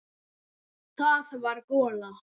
Það var gola.